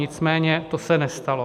Nicméně to se nestalo.